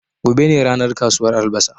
Gobe ne ranar kasuwar albasa